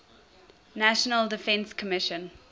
national defense commission